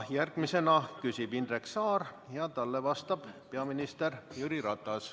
Järgmisena küsib Indrek Saar ja talle vastab peaminister Jüri Ratas.